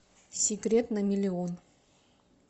секрет на миллион